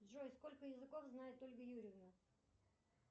джой сколько языков знает ольга юрьевна